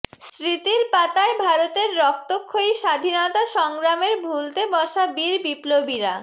স্মৃতির পাতায় ভারতের রক্তক্ষয়ী স্বাধীনতা সংগ্রামের ভুলতে বসা বীর বিপ্লবীরা